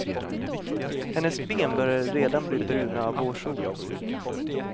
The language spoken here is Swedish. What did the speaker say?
Hennes ben började redan bli bruna av vårsolen.